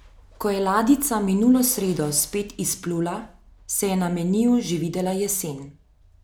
Ko je ladjica minulo sredo spet izplula, se je na meniju že videla jesen.